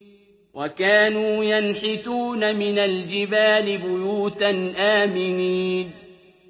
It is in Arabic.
وَكَانُوا يَنْحِتُونَ مِنَ الْجِبَالِ بُيُوتًا آمِنِينَ